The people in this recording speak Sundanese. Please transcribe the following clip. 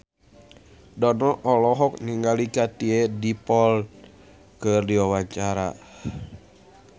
Dono olohok ningali Katie Dippold keur diwawancara